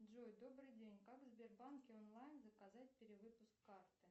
джой добрый день как в сбербанке онлайн заказать перевыпуск карты